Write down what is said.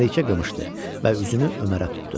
Məlikə qımışdı və üzünü Ömərə tutdu.